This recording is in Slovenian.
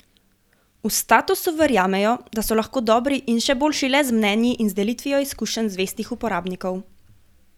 V Statusu verjamejo, da so lahko dobri in še boljši le z mnenji in delitvijo izkušenj zvestih uporabnikov.